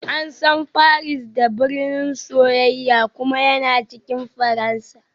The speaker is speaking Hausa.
An san Paris da "birnin soyayya" kuma yana cikin Faransa